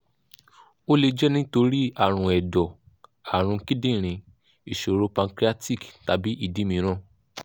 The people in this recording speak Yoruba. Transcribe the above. ó lè jẹ́ nítorí ààrùn ẹ̀dọ̀ ààrùn kíndìnrín ìṣòro páncreatic tàbí ìdí mìíràn